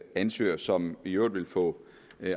ansøgere som i øvrigt vil få